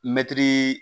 Mɛtiri